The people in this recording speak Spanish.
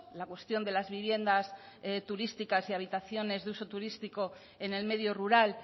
la cuestión de las viviendas turísticas y habitaciones de uso turístico en el medio rural